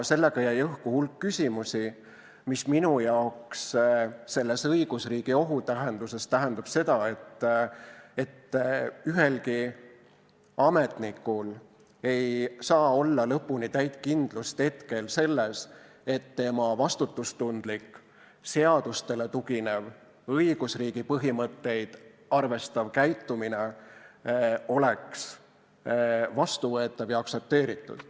Sellega jäi õhku hulk küsimusi, mis minu arvates õigusriigi ohu mõttes tähendab seda, et ühelgi ametnikul ei saa olla lõpuni täit kindlust selles, et tema vastutustundlik seadustele tuginev õigusriigi põhimõtteid arvestav käitumine oleks vastuvõetav ja aktsepteeritud.